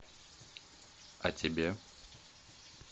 а тебе